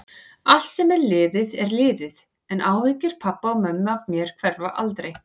Allt sem er liðið er liðið, en áhyggjur pabba og mömmu af mér hverfa aldrei.